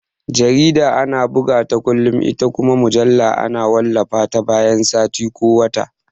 Jarida ana bugata kullum ita kuma mujalla ana wallafa ta bayan sati ko wata